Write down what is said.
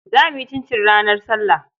Za mu yi cincin ranar sallah.